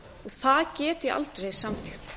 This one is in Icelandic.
það get ég aldrei samþykkt